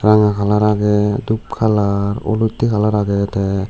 ranga halar aagey dup kalar ollttey kalar aagey te.